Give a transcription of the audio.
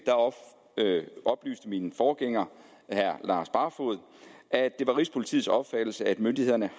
oplyste min forgænger herre lars barfoed at det var rigspolitiets opfattelse at myndighederne